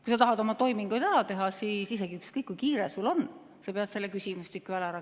Kui sa tahad oma toimingud ära teha, siis ükskõik, kui kiire sul on, sa pead selle küsimustiku täitma.